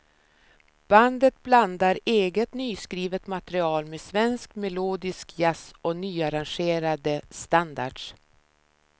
Bandet blandar eget nyskrivet material med svensk melodisk jazz och nyarrangerade standards.